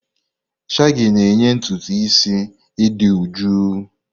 Shagi na-enye ntutu isi idị jụụ.